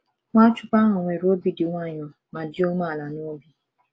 Nwachukwu nwere obi dị nwayọọ ma dị umeala n’obi. ’